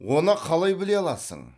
оны қалай біле аласың